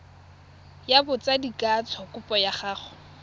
ya botsadikatsho kopo ya go